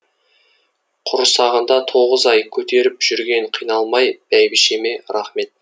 құрсағында тоғыз ай көтеріп жүрген қиналмай бәйбішеме рахмет